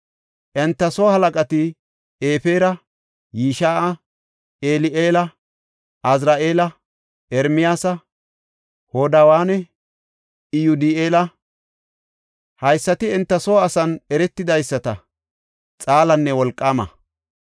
Enta soo halaqati Efera, Yish7a, Eli7eela, Azri7eela, Ermiyaasa, Hodawanne Iyodi7eela. Haysati enta soo asan eretidaysata, xaalanne wolqaama.